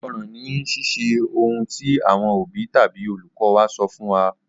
Ìgbọ́ràn ni Ṣíṣe ohun tí àwọn òbí tàbí olùkọ́ wa sọ fún wa.